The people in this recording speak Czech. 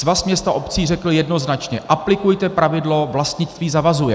Svaz měst a obcí řekl jednoznačně: Aplikujte pravidlo vlastnictví zavazuje.